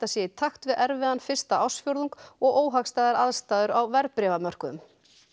sé í takt við erfiðan fyrsta ársfjórðung og óhagstæðar aðstæður á verðbréfamörkuðum